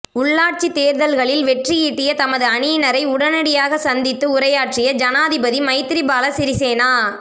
உள்ராட்சித் தேர்தல்களில் வெற்றியீட்டிய தமது அணியினரை உடனடியாக சந்தித்து உரையாற்றிய ஜனாதிபதி மைத்திரிபால சிறிசேனா